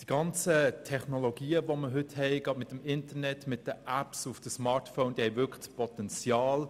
Die heutigen Technologien, das Internet und die Apps auf den Smartphones haben das Potenzial,